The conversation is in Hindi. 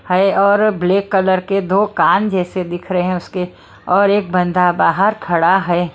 है और ब्लैक कलर के दो कान जैसे दिख रहे हैं उसके और एक बंदा बाहर खड़ा है।